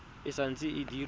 e sa ntse e dira